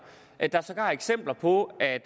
er sågar eksempler på at